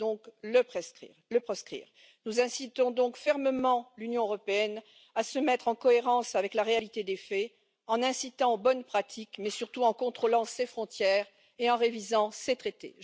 Il faut donc le proscrire. Nous incitons donc fermement l'Union européenne à se mettre en cohérence avec la réalité des faits, en incitant aux bonnes pratiques, mais surtout en contrôlant ses frontières et en révisant ses traités.